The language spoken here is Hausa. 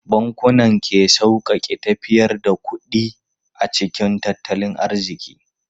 Bankunan ke sauƙaƙe tafiyar da kuɗi a cikin tattalin arziki.